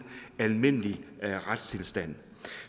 almindelig retstilstand